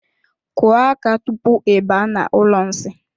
Kụọ aka tupu I baa n'ụlọ nsi.